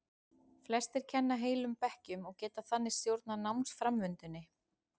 Flestir kenna heilum bekkjum og geta þannig stjórnað námsframvindunni.